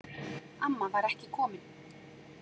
Amma var ekki komin.